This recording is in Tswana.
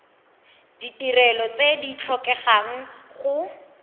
ditirelo tse di tlhokegang go